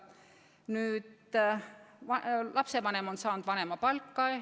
Nüüd, lapsevanem on saanud vanemapalka.